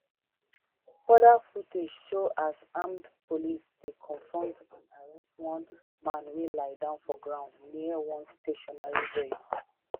further footage show as armed police dey confront and arrest one man wey lie down for ground near one stationary vehicle